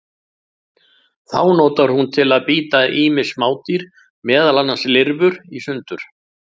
Þá notar hún til að bíta ýmis smádýr, meðal annars lirfur, í sundur.